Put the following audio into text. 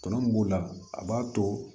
Tɔnɔ mun b'o la a b'a to